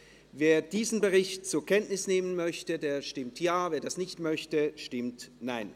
Wer diesen Bericht zur Kenntnis nehmen will, stimmt Ja, wer dies ablehnt, stimmt Nein.